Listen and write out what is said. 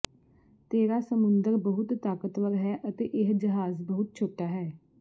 ਤੇਰਾ ਸਮੁੰਦਰ ਬਹੁਤ ਤਾਕਤਵਰ ਹੈ ਅਤੇ ਇਹ ਜਹਾਜ਼ ਬਹੁਤ ਛੋਟਾ ਹੈ